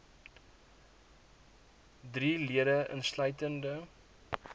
drie lede insluitende